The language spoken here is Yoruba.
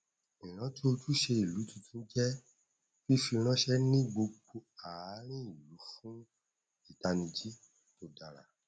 ìrántí ojúṣe ìlú tuntun jẹ fífi ránṣẹ ní gbogbo àárín ìlú fún ìtanijí tó dára